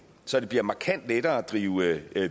så det bliver markant lettere at drive